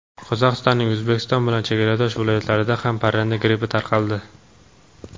Qozog‘istonning O‘zbekiston bilan chegaradosh viloyatlarida ham parranda grippi tarqaldi.